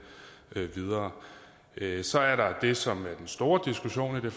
videre så er der det som er den store diskussion i det